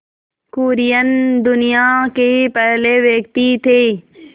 कुरियन दुनिया के पहले व्यक्ति थे